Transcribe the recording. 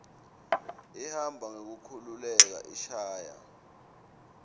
ihamba ngekukhululeka ishaya